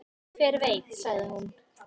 """Hver veit, sagði hún."""